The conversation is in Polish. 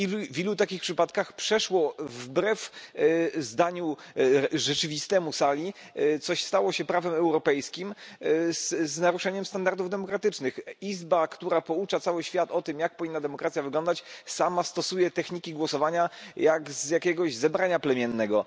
W ilu takich przypadkach przeszło wbrew zdaniu rzeczywistemu sali coś, co stało się prawem europejskim z naruszeniem standardów demokratycznych? Izba, która poucza cały świat o tym, jak powinna demokracja wyglądać, sama stosuje techniki głosowania jak z jakiegoś zebrania plemiennego.